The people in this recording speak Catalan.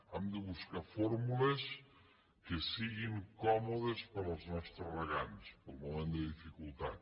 hem de buscar fórmules que siguin còmodes per als nostres regants pel moment de dificultat